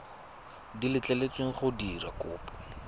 di letleletsweng go dira kopo